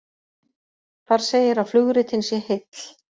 Þar segir að flugritinn sé heill